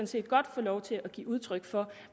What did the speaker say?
set godt få lov til at give udtryk for